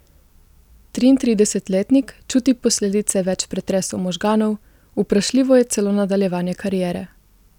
Triintridesetletnik čuti posledice več pretresov možganov, vprašljivo je celo nadaljevanje kariere.